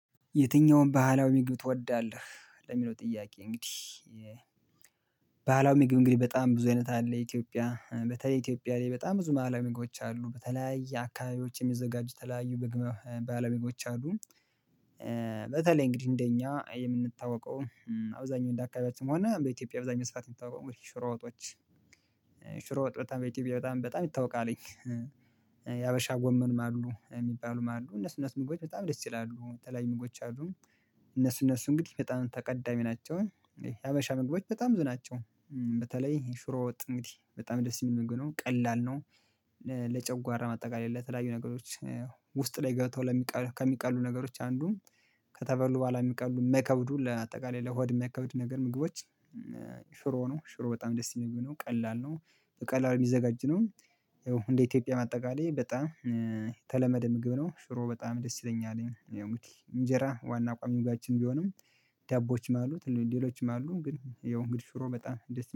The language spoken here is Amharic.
የትኛውም ባህላዊ ምግብ ትወዳለህ? ለሚለው ጥያቄ እንግዲህ ምግብ እንግዲህ በጣም ብዙ አይነት አለ ኢትዮጵያ በተለይ ኢትዮጵያ ላይ በጣም ብዙ ባህላዊ ምግቦች አሉ በተለያየ አካባቢዎች የሚዘጋጁ የተለያዩ ባህላዊ ምግቦች አሉ። በተለይ እንግዲህ እንደኛ የምንታወቀው አብዛኛው እንደ አካባቢያችን ሆነ በኢትዮጵያ አብዛኛው ሰዓት የምንታወቀው እንግዲህ ሽሮ ወጦች ሽሮ ወጥ በጣም በኢትዮጵያ በጣም በጣም ይታወቃል። የሀበሻ ጎመንም አሉ የሚባሉም አሉ እነሱ እነሱ ምግቦች በጣም ደስ ይላሉ የተለያዩ ምግቦች አሉ። እነሱ እነሱ እንግዲህ በጣም ተቀዳሚ ናቸው። የሀበሻ ምግቦች በጣም ብዙ ናቸው። በተለይ ሽሮ ወጥ እንግዲህ በጣም ደስ የሚል ምግብ ነው ቀላል ነው። ለጨጓራ በአጠቃላይ ለተለያዩ ነገሮች ውስጥ ላይ ገብተው ከሚቀሉ ነገሮች አንዱም ከተበሉ በኋላ የሚቀሉ የማይከብዱ ለአጠቃላይ ለሆድ የማይከብዱ ነገር ምግቦች። ሽሮ ነው ሽሮ በጣም ደስ የሚል ምግብ ነው ቀላል ነው። በቀላሉ የሚዘጋጅ ነው። ያው እንደ ኢትዮጵያ አጠቃላይ በጣም የተለመደ ምግብ ነው ሽሮ በጣም ደስ ይለኛል እንግዲህ እንጀራ ዋና ቋሚ ምግባችን ቢሆንም። ዳቦዎችም አሉ ሌሎችም አሉ ግን ያው እንግዲህ ሽሮ በጣም